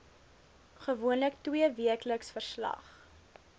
gewoonlik tweeweekliks verslag